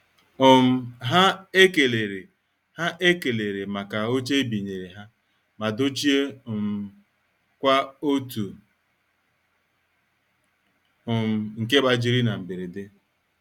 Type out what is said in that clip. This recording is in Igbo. um Ha ekelere Ha ekelere maka oche ebinyere ha ma dochie um kwa otu um nke gbajiri na mberede.